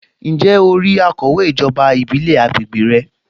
Ǹjẹ́ o rí akọ̀wé ijoba ìbílẹ̀ àgbègbè rẹ?